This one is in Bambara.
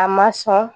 A ma sɔn